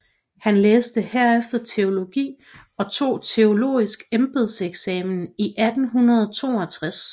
Han læste herefter teologi og tog teologisk embedseksamen i 1862